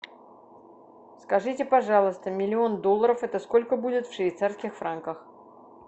скажите пожалуйста миллион долларов это сколько будет в швейцарских франках